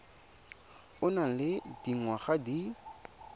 o nang le dingwaga di